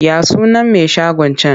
Ya sunan mai shagon can?